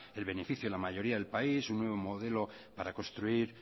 el beneficio de la mayoría del país un nuevo modelo para construir